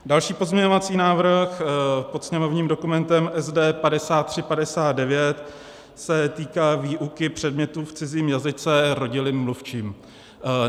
Další pozměňovací návrh pod sněmovním dokumentem SD 5359 se týká výuky předmětů v cizím jazyce rodilým mluvčím.